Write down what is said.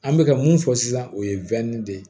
An bɛ ka mun fɔ sisan o ye de ye